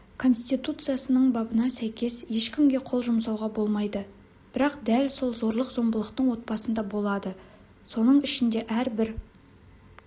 конституциясының бабына сәйкес ешкімге қол жұмсауға болмайды бірақ дәл сол зорлық-зомбылықтың отбасында болады соның ішінде әрбір